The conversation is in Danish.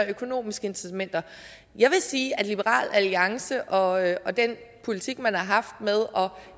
økonomiske incitamenter jeg vil sige at liberal alliance og og den politik man har haft med